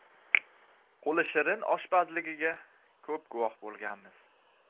Qo‘li shirin oshpazligiga ko‘p guvoh bo‘lganmiz.